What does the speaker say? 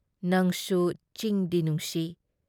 ꯅꯪꯁꯨ ꯆꯤꯡꯗꯤ ꯅꯨꯡꯁꯤ